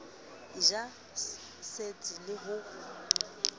e ja setsi le ho